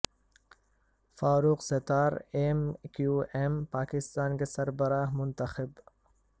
فاروق Sattar M Q M Pakistan کے سربراہ منتخب